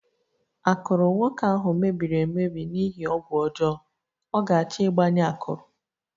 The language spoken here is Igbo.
Akụrụ nwoke ahụ mebiri emebi n'ihi ọgwụ ọjọọ, ọ ga-achọ ịgbanye akụrụ